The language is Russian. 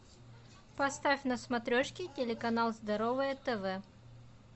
поставь на смотрешке телеканал здоровое тв